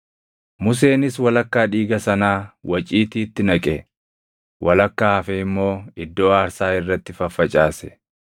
Museenis walakkaa dhiiga sanaa waciitiitti naqe; walakkaa hafe immoo iddoo aarsaa irratti faffacaase.